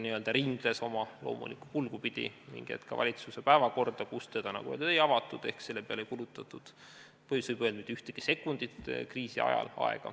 Ta ringles oma loomulikku kulgu pidi ning ka valitsuse päevakorras, nagu öeldud, seda ei avatud ehk selle peale ei kulutatud, võib öelda, mitte ühtegi sekundit aega kriisi ajal.